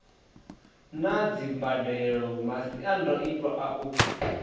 na dzimbadelo masiandoitwa a u